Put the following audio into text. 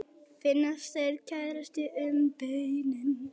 Finnast þeir krækjast um beinin.